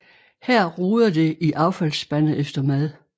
Her roder det i affaldsspande efter mad